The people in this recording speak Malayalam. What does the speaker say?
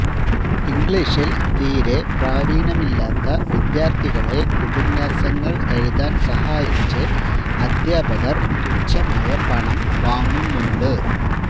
ഇംഗ്ളീഷില് തീരെ പ്രാവീണ്യമില്ലാത്ത വിദ്യാര്ഥികളെ ഉപന്യാസങ്ങള് എഴുതാന് സഹായിച്ച് അധ്യാപകര് തുച്ഛമായ പണം വാങ്ങുന്നുണ്ട്